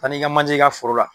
Taa n'i ka manjɛ ye i ka foro la.